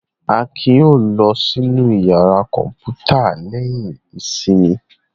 Akin yóò lọ sínú ìyàrá kọ̀ǹpútà lẹ́yìn ìsinmi.